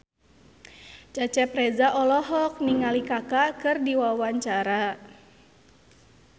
Cecep Reza olohok ningali Kaka keur diwawancara